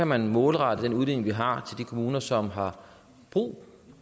man målrette den udligning vi har de kommuner som har brug